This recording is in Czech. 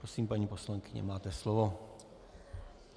Prosím, paní poslankyně, máte slovo.